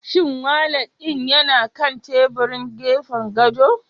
Shin walat ɗin yana kan teburin gefen gado?